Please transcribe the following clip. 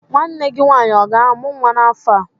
Nwanne gị nwaanyị ọ ga-amụ nwa n'afọ a?